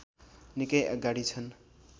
निकै अगाडि छन्